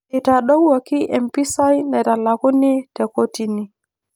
Eitadowuoki empisai naitalakuni te kotini